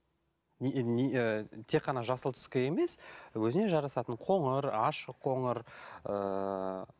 і тек қана жасыл түске емес өзіне жарасатын коңыр ашық қоңыр ыыы